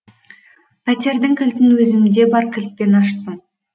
пәтердің кілтін өзімде бар кілтпен аштым